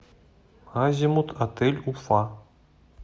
азимут отель уфа